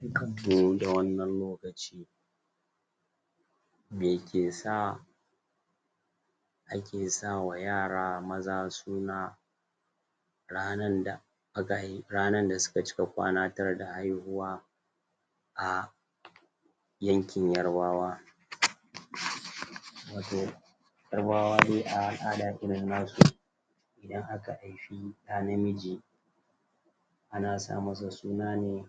Barkan mu da wannan lokaci me ke sa ake sa wa yara maza suna rannan da aka rannan da su ka cika kwana 9 da haihuwa a yankin yorubawa?? watau yorubawa dai a al'ada kenan na su idan aka haifi da namiji ana sa masa suna ne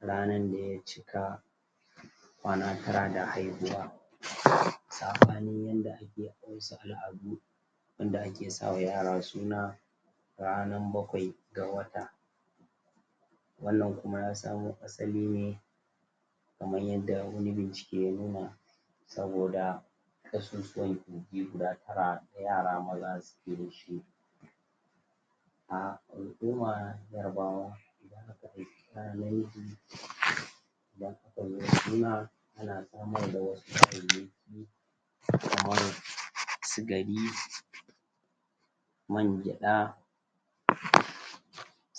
rannan da ya cika kwana 9 da haihuwa? sabanin yan da ake yan da ake sa wa yara suna rannan bakwai da wata wannan kuma ya samo asali ne kaman yanda wani bincike ya nuna saboda kasusuwan kogi guda tara na yara maza su ke nufi a al'uma yorubawa? idan a ka yi suna an mai da wasu kayayyaki kamar sigari mai gyada?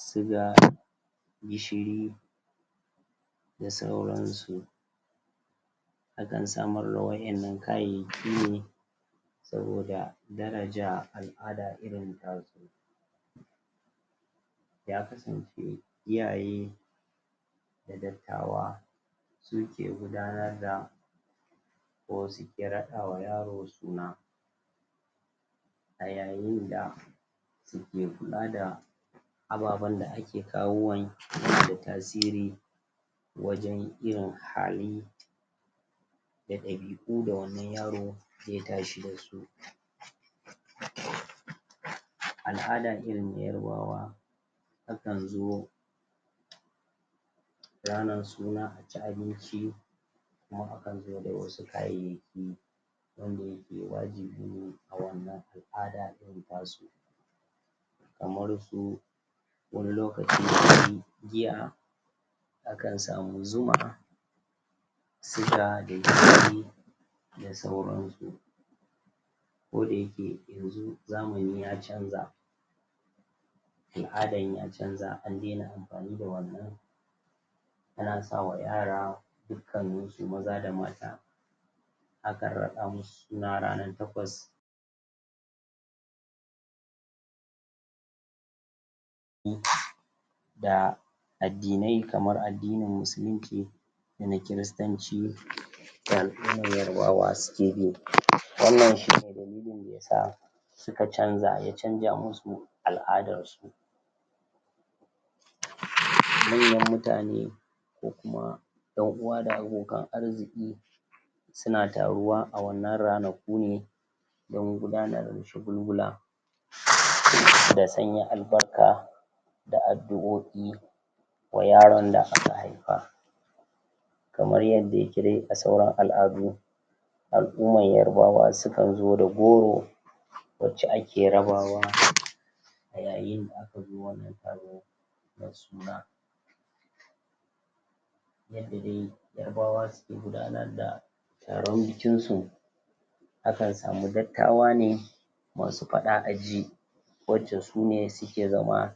suga, gishiri da sauran su a kan samar wayan nan kayayaki ne soboda darajja al'ada irin ta su ya kasance iyaye da dattawa su ke gudannar da ko su ki raka wa yaro suna a yayin da su ke kula da ababan da ake kawowa yana da tasiri wajen irin hali da dabi'u da wannan yaro zai tashi da shi? al'ada irin yorubawa akan zo ranan suna a ci abinci kuma akan zo da wasu kayayaki wanda yaje wajibi a wannan al'ada irin ta su kamar su wani lokaci giya akan samu zuma suga da gishiri da sauran su kodayake yanzu zamani ya canza al'adan ya canza an daina amfani da wannan ana sa wa yara dukkanin su maza da mata akan ratsa musu suna rana 8 da adinnai kamar adinnin musulunci da na christanci da al'uma yorubawa su ke bi wannan shi ne dalilin da ya da al'uma yorubawa su ke bi wannan shi ne dalilin da ya sa suka canja ya canja mu su al'adar su manyan mutane ko kuma dan uwa da abokan arziki su na taruwa a wannan ranaku ne dan gudanar da cugulgula da sanya albarka da addu'oi wa yaron da aka haifa kamar yadda yake dai a sauran al'adu al'uman yorubawa sukan zo da goro wace ake rabawa da yayin da akazo wannan taro na suna yanda dai yorubawa suke gudannar da taron bikinsu akan samu dattawa ne masu fada a ji wace su ne su ke zama? suna wadda su ka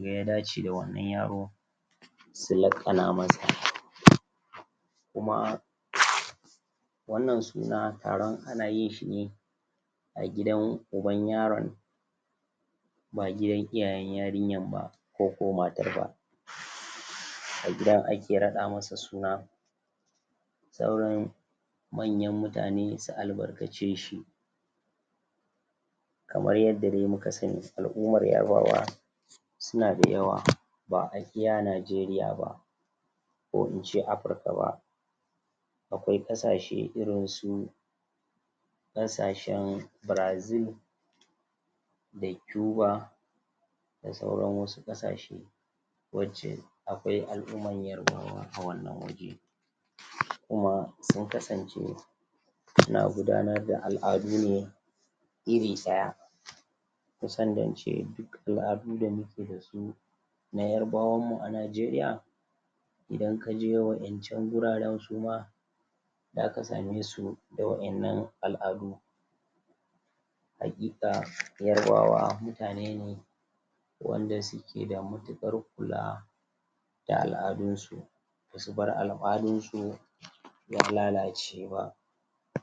ga ya dace da wannan yaro su lakana masa kuma wannan suna taronana yin shi ne agidan uban yaron ba gidan iyayen yarinyan ba ko ko matar ba a gida a ke rada masa suna sauranmanyan mutane su albarkace shi kamar yadda dai muka sani al'uma ya ba wa su na da yawa ba'a iya najeriya ba ko in ce Africa ba akwai kasashe irinsu kasashen Brazil da Cuba da sauran wasu kasashe wace akwai al'uman yorubawa a wannan wajen kuma sun kasance suna gudanar da al'adu ne iri daya? duk al'adu da muke da shi na yorubawan mu a Najeriya idan ka je wayan can gurare kuma zaka same su da wayannan al'adu hakika yorubawa mutane ne wanda su ke da matukar kula da al'adun su su bar al'fadin su ya lalace ba